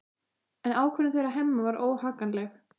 En ákvörðun þeirra Hemma var óhagganleg.